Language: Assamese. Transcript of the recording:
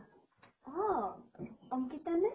অ । অংকিতা নে?